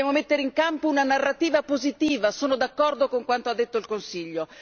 Dobbiamo mettere in campo una narrativa positiva, sono d'accordo con quanto ha detto il Consiglio.